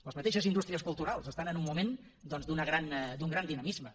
les mateixes indústries culturals estan en un moment doncs d’un gran dinamisme